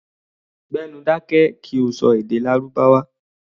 Gbé nu dákẹ́ kí o ṣọ èdè Lárúbáwá!